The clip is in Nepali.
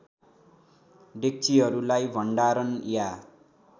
डेक्चिहरूलाई भण्डारण या